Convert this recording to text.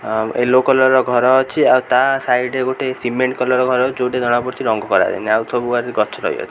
ଆଉ yellow colour ର ଘର ଅଛି ଆଉ ତା ସାଇଡ୍ ରେ ଗୋଟେ ସିମେଣ୍ଟ କଲର୍ ର ଘର ଯୋଉଟା ଜଣା ପଡ଼ୁଚି ରଙ୍ଗ କରା ଯାଇନି ଆଉ ସବୁ ଆଡରେ ଗଛ ରହିଅ--